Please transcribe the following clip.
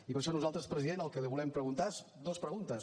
i per això nosaltres president el que li volem preguntar són dues preguntes